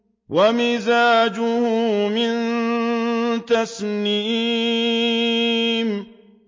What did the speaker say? وَمِزَاجُهُ مِن تَسْنِيمٍ